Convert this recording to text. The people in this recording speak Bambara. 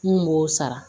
N kun b'o sara